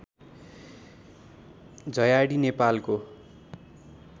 झयाडी नेपालको